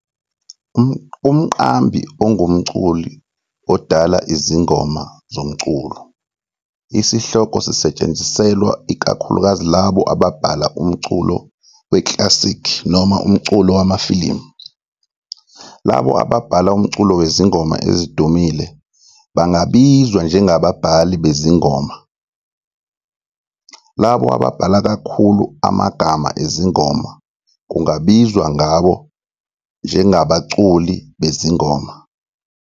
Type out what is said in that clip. Umqambi ungumculi odala izingoma zomculo. Isihloko sisetshenziselwa ikakhulukazi labo ababhala umculo we-classic noma umculo wamafilimu. Labo ababhala umculo wezingoma ezidumile bangabizwa njengababhali bezingoma. Labo ababhala kakhulu amagama ezingoma kungabizwa ngabo njengabaculi bezingoma.